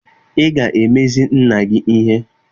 Ị ga-emezi nna gị ihe!